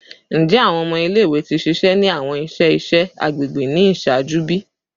Njẹ awọn ọmọ ile-iwe ti ṣiṣẹ ni awọn iṣẹ iṣẹ agbegbe ni iṣaaju bi?